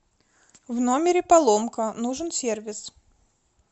в номере поломка нужен сервис